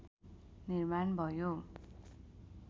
निर्माण भयो